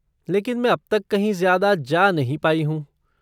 लेकिन मैं अब तक कहीं ज्यादा जा नहीं पाई हूँ।